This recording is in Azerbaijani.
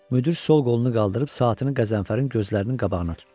Müdir sol qolunu qaldırıb saatını Qəzənfərin gözlərinin qabağına tutdu.